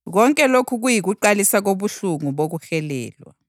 Konke lokhu kuyikuqalisa kobuhlungu bokuhelelwa.